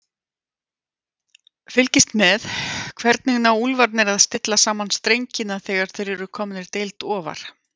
Fylgist með: Hvernig ná Úlfarnir að stilla saman strengina þegar þeir eru komnir deild ofar?